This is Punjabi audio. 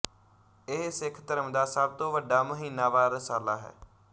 ਇਹ ਸਿੱਖ ਧਰਮ ਦਾ ਸਭ ਤੋਂ ਵੱਡਾ ਮਹੀਨਾਵਾਰ ਰਸਾਲਾ ਹੈ